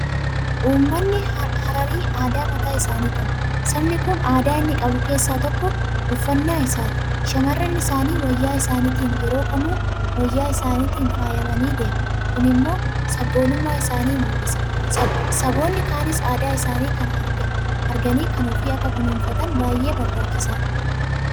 Uummanni hararii aadaa mataa isaanii qabu. Sabni kun aadaa inni qabu keessaa tokko uffannaa isaati. Shaamarran isaanii wayyaa isaaniitiin yeroo kamuu wayyaa isaaniitiin faayamanii deemu. Kun immoo sabboonummaa isaanii mul'isa. Saboonni kaanis aadaa isaanii kana arganii kan ofii akka kunuunfataniif baay'ee barbaachisaadha.